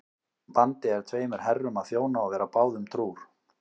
Vandi er tveimur herrum að þjóna og vera báðum trúr.